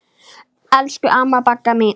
Elsku amma Bagga mín.